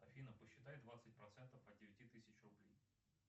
афина посчитай двадцать процентов от девяти тысяч рублей